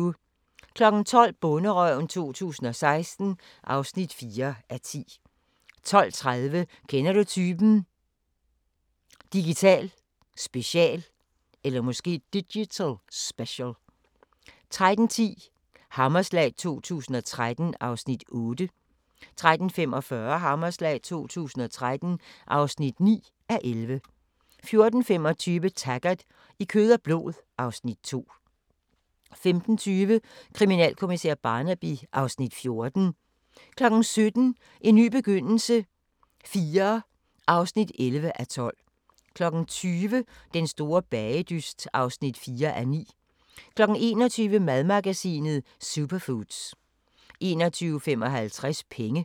12:00: Bonderøven 2016 (4:10) 12:30: Kender du typen? – Digital special 13:10: Hammerslag 2013 (8:11) 13:45: Hammerslag 2013 (9:11) 14:25: Taggart: I kød og blod (Afs. 2) 15:20: Kriminalkommissær Barnaby (Afs. 14) 17:00: En ny begyndelse IV (11:12) 20:00: Den store bagedyst (4:9) 21:00: Madmagasinet: Superfoods 21:55: Penge